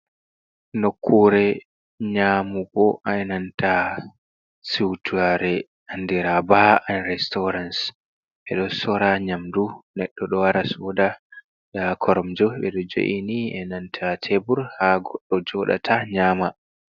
Nokkure nƴaamugo ai nanta siutare andira BA restorance. Ɓe ɗo sora nƴamdu. Neɗɗo ɗo wara sooda. Nda koromje ɓe ɗo jo'ini, e nanta teebur haa goɗɗo joɗata nƴama.